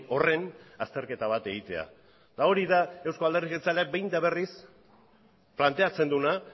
horren azterketa bat egitea eta hori da euzko alderdi jeltzaleak behin eta berriz planteatzen duena